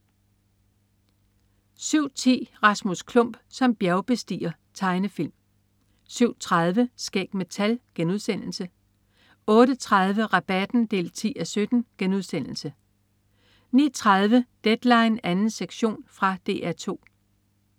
07.10 Rasmus Klump som bjergbestiger. Tegnefilm 07.30 Skæg med tal* 08.30 Rabatten 10:17* 09.30 Deadline 2. sektion. Fra DR 2